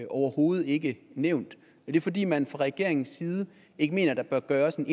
overhovedet ikke nævnt er det fordi man fra regeringens side ikke mener der bør gøres en